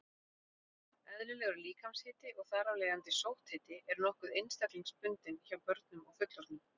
Eðlilegur líkamshiti, og þar af leiðandi sótthiti, er nokkuð einstaklingsbundinn hjá börnum og fullorðnum.